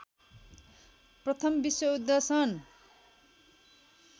प्रथम विश्वयुद्ध सन्